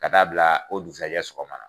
Ka taa bila o dugusajɛ sogɔma na.